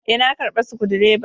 Eh, na karba Sukudireban.